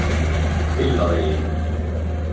Byggðavegi